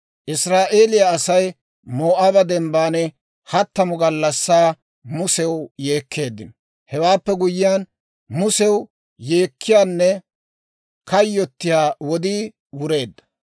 Israa'eeliyaa Asay Moo'aaba dembban hattamu gallassaa Musew yeekkeeddino. Hewaappe guyyiyaan, Musew yeekkiyaanne kayyottiyaa wodii wureedda.